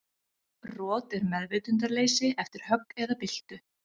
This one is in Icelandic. Rot er meðvitundarleysi eftir högg eða byltu.